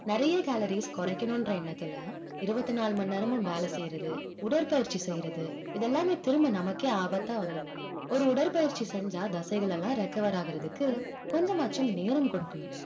நிறைய calories குறைக்கணுன்ற எண்ணத்துல இருபத்தி நாலு மணி நேரமும் வேலை செய்யறது உடற்பயிற்சி செய்யறது இதெல்லாமே திரும்ப நமக்கே ஆபத்தா வந்து முடியும் ஒரு உடற்பயிற்சி செஞ்சா தசைகள் எல்லாம் recover ஆகறதுக்கு கொஞ்சமாச்சும் நேரம் கொடுக்கணும்